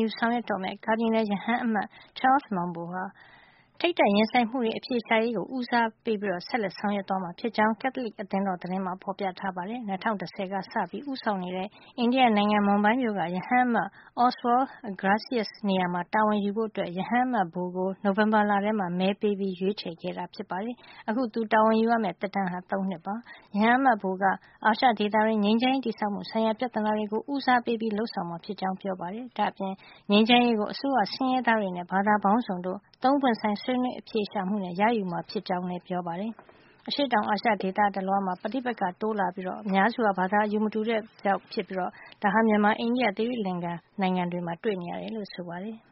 ယူဆောင်ရွက်တော့မယ့် ကာဒီနယ်ရဟန်းအမတ် Charles Maung Bo ဟာ ထိပ်တိုက်ရင်ဆိုင်မှုတွေ အဖြေရှာရေးကို ဆက်လက်ဦးစားပေး ဆောင်ရွက်သွားမှာ ဖြစ်ကြောင်း ကက်သလစ် အသင်းတော် သတင်းမှာ ဖေါ်ပြထားပါတယ်။ ၂၀၁၀ ကစပြီး ဦးဆောင်နေတဲ့ အိန္ဒိယနိုင်ငံ မွန်ဘိုင်းမြို့က ရဟန်းအမတ် Oswald Gracias နေရာမှာ တာဝန်ယူဖို့ ရဟန်းအမတ် Bo ကို နိုဝင်ဘာလထဲမှာ မဲပေးရွေးချယ်ခဲ့တာပါ။ အခု သူတာဝန်ယူရမယ့် သက်တမ်းဟာ ၃ နှစ် ဖြစ်ပါတယ်။ ရဟန်းအမတ် Bo က အာရှဒေသတွင်း ငြိမ်းချမ်းရေးတည်ဆောက်မှု ဆိုင်ရာ ပြဿနာတွေကို ဦးစားပေးလုပ်ဆောင်မှာ ဖြစ်ကြောင်း ပြောပါတယ်။ ဒါ့အပြင် ငြိမ်းချမ်းရေးကို အစိုးရ၊ ဆင်းရဲသားတွေနဲ့ ဘာသာပေါင်းစုံတို့ ၃ ပွင့်ဆိုင် ဆွေးနွေး အဖြေရှာမှုနဲ့ ရယူမှာ ဖြစ်ကြောင်းလည်း ပြောပါတယ်။ အရှေ့တောင်အာရှ ဒေသတလွှားမှာ ပြည်တွင်း ပဋိပက္ခတွေ တိုးလာနေပြီး အများစုဟာ ဘာသာ အယူမတူတဲ့ သဘာဝကြောင့်ဖြစ်ပြီး ဒါကို မြန်မာ၊ အိန္ဒိယ၊ သီရိလင်္ကာ၊ ပါကစ္စတန်၊ ထိုင်း၊ ဖိလစ်ပိုင်နဲ့ အင်ဒိုနီးရှား နိုင်ငံတွေမှာ တွေ့နေရတယ်လို့ ပြောပါတယ်။